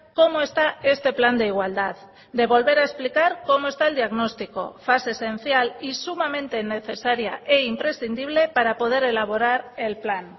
cómo está este plan de igualdad de volver a explicar cómo está el diagnóstico fase esencial y sumamente necesaria e imprescindible para poder elaborar el plan